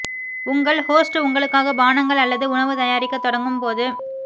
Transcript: உங்கள் ஹோஸ்ட் உங்களுக்காக பானங்கள் அல்லது உணவு தயாரிக்கத் தொடங்கும் போது